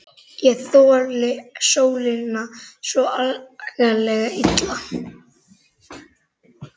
Ég þoli sólina svo agalega illa.